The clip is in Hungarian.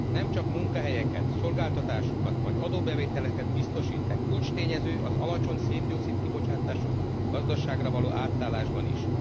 Nem csak munkahelyeket, szolgáltatásokat vagy adóbevételeket biztosít, de kulcstényező az alacsony szén dioxid kibocsátású gazdaságra való átállásban is.